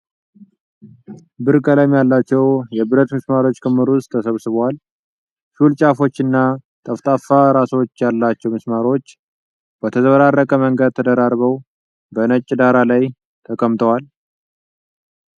ብር ቀለም ያላቸው፣ የብረት ምስማሮች ክምር ውስጥ ተሰብስበዋል። ሹል ጫፎች እና ጠፍጣፋ ራሶች ያሏቸው ምስማሮቹ በተዘበራረቀ መንገድ ተደራርበው፣ በነጭ ዳራ ላይ ተቀምጠዋል።